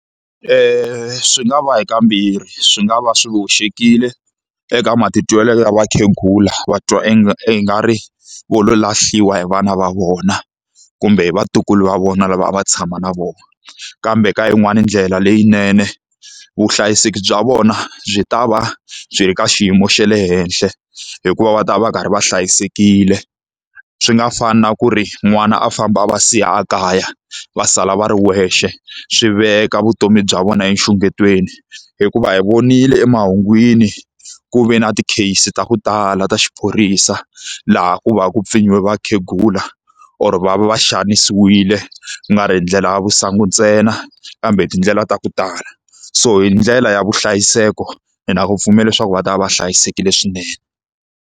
Swi nga va hi ka mbirhi, swi nga va swi hoxekile eka matitwelo ya vakhegula va twa ingari va lo lahliwa hi vana va vona kumbe vatukulu va vona lava a va tshama na vona. Kambe ka yin'wani ndlela leyinene, vuhlayiseki bya vona byi ta va byi ri ka xiyimo xe le henhla hikuva va ta va va karhi va hlayisekile. Swi nga fani na ku ri n'wana a famba a va siya ekaya va sala va ri wexe, swi veka vutomi bya vona enxungetweni. Hikuva hi vonile emahungwini ku ve na ti-case ta ku tala ta xiphorisa laha ku va ku ku pfinyiwe vakhegula or va va va xanisiwile ku nga ri hi ndlela ya masangu ntsena, kambe hi tindlela ta ku tala. So hi ndlela ya vuhlayiseki, ni na ku pfumela leswaku va ta va va hlayisekile swinene.